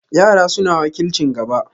Yara suna wakilcin gaba.